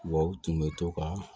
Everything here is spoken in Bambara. Wa u tun bɛ to ka